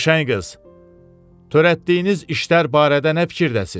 Qəşəng qız, törətdiyiniz işlər barədə nə fikirdəsiz?